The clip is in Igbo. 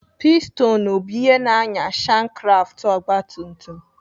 Pistonụ bụ ihe na-ànyà shankkraftụ ọgbatumtum.